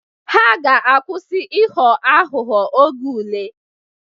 Ha ga-akwusi ịghọ aghụghọ oge ule